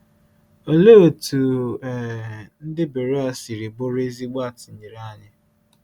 Òlee otú um ndị Beroea siri bụrụ ezigbo atụnyere anyị?